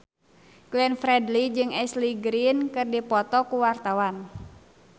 Glenn Fredly jeung Ashley Greene keur dipoto ku wartawan